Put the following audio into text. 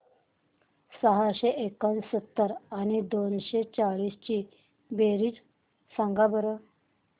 सहाशे एकोणसत्तर आणि दोनशे सेहचाळीस ची बेरीज सांगा बरं